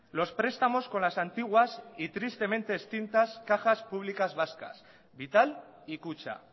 los prestamos con las antiguas y tristemente extintas cajas públicas vascas vital y kutxa